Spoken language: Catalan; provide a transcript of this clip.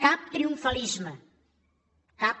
cap triomfalisme cap